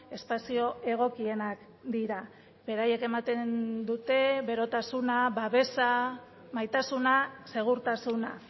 espazio egokienak dira beraiek ematen dute berotasuna babesa maitasuna segurtasuna